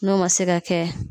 N'o ma se ka kɛ